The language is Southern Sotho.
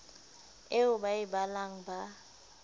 eo ba e balang ba